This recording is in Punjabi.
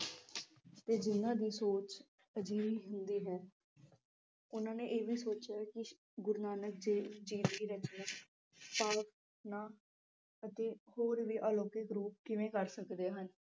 ਤੇ ਜਿਨ੍ਹਾਂ ਦੀ ਸੋਚ ਅਜਿਹੀ ਹੁੰਦੀ ਹੈ। ਉਨ੍ਹਾਂ ਨੇ ਇਹ ਵੀ ਸੋਚਿਆ ਕਿ ਗੁਰੂ ਨਾਨਕ ਦੇਵ ਜੀ ਦੀ ਰਚਨਾ ਪਾਵਕ ਨਾ ਅਤੇ ਹੋਰ ਵੀ ਅਲੌਕਿਕ ਰੂਪ ਕਿਵੇਂ ਕਰ ਸਕਦੇ ਹਨ।